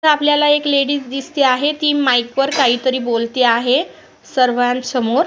आपल्याला एक लेडी दिसते आहे ती माइकवरती काही बोलते आहे सर्वांसमोर.